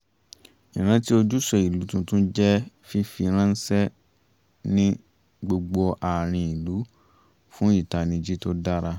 ìrántí ojúṣe ìlú tuntun jẹ́ fífi ránṣẹ́ ní gbogbo àárín ìlú fún ìtanijí tó dára